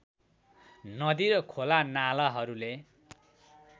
नदी र खोलानालाहरूले